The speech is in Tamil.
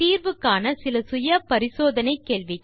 தீர்வு காண செல்ஃப் அசெஸ்மென்ட் கேள்விகள் 1